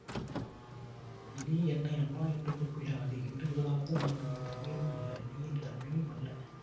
இனி என்னை அண்ணா என்று கூப்பிடாதே இன்று முதலாவது நான் உன் தமையனும் அல்ல நீ என் தம்பியும் அல்ல